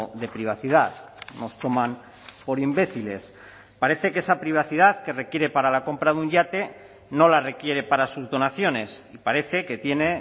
de privacidad nos toman por imbéciles parece que esa privacidad que requiere para la compra de un yate no la requiere para sus donaciones y parece que tiene